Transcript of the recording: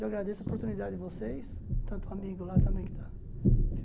Eu agradeço a oportunidade de vocês, tanto o amigo lá também que está.